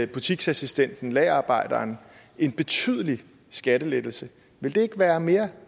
butiksassistenten lagerarbejderen en betydelig skattelettelse ville det ikke være mere